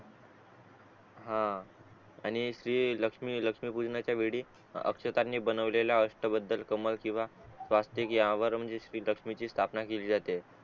हा आणि ती लक्ष्मी लक्ष्मी पूजनाचा वेळी अक्षता नि बनवलेला अष्टबद्ध कमल किंवा स्वस्तिक यावर म्हणजे लक्ष्मीची संतपण केली जाते